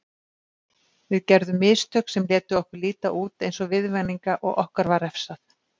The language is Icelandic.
Við gerðum mistök sem létu okkur líta út eins og viðvaninga og okkur var refsað.